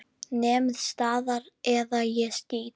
Nemið staðar eða ég skýt!